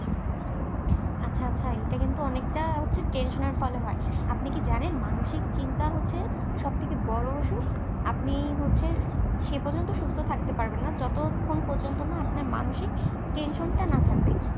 আচ্ছা আচ্ছা এটা কিন্তু অনেকটা হচ্ছে tension এর ফলে হয় আপনি কি জানেন মানসিক চিন্তা হচ্ছে সবথেকে বড় অসুখ আপনি হচ্ছে সে পর্যন্ত সুস্থ থাকতে পারবেন না যতক্ষণ পর্যন্ত না আপনার মানসিক tension টা না থাকবে।